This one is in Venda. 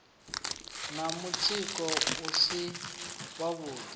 na mutsiko u si wavhuḓi